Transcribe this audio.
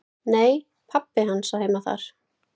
"""Nei, pabbi hans á heima þar."""